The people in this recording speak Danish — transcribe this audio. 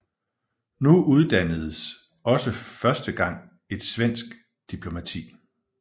Nu uddannedes også for første gang et svensk diplomati